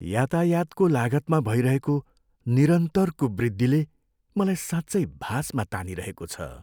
यातायातको लागतमा भइरहेको निरन्तरको वृद्धिले मलाई साँच्चै भासमा तानिरहेको छ।